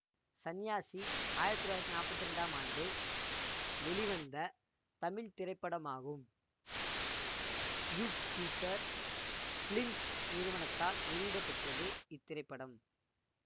சன்யாசி ஆயிரத்தி தொள்ளாயிரத்தி நாப்பத்தி இரண்டாம் ஆண்டு வெளிவந்த தமிழ் திரைப்படமாகும் யூப்பிட்டர் பிலிம்ஸ் நிறுவனத்தால் வெளியிடப்பெற்றது இத்திரைப்படம்